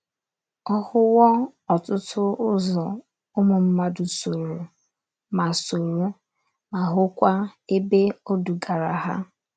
Ọ hụwo ọtụtụ ụzọ ụmụ mmadụ sooro, ma sooro, ma hụkwa ebe o dugara ha.